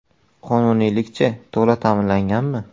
Qonuniylik-chi, to‘la ta’minlanganmi?